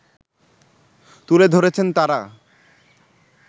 তুলে ধরেছেন তারা